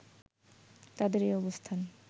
তাদের এই অবস্থান